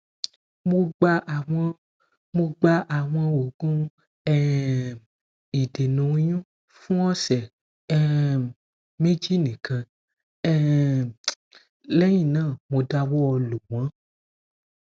mo gba awọn mo gba awọn oogun um idena oyun fun ọsẹ um meji nikan um lẹhinna mo dawọ lo wọn